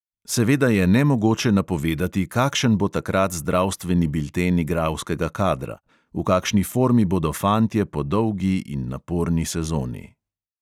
Seveda je nemogoče napovedati, kakšen bo takrat zdravstveni bilten igralskega kadra, v kakšni formi bodo fantje po dolgi in naporni sezoni ...